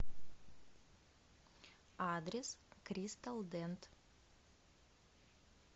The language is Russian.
адрес кристал дент